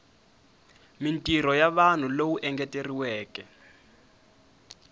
mintirho ya vanhu lowu engeteriweke